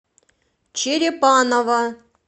черепаново